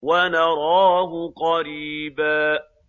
وَنَرَاهُ قَرِيبًا